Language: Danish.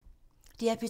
DR P2